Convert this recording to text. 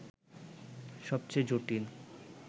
সবচেয়ে জটিল